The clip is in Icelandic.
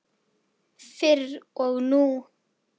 Fyrr og nú.